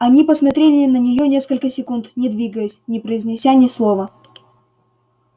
они посмотрели на неё несколько секунд не двигаясь не произнося ни слова